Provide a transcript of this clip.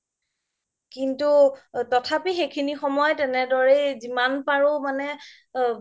কিন্তু তথাপি সেইখিনি সময়ত তেনেদৰেই জিমান পাৰো মানে